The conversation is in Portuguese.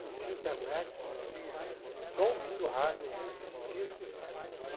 Não tinha internet, não tinha... Só ouvindo rádio, ouvindo discos e...